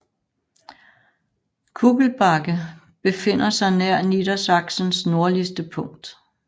Kugelbake befinder sig nær Niedersachsens nordligste punkt